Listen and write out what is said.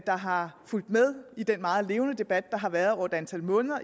der har fulgt med i den meget levende debat der har været over et antal måneder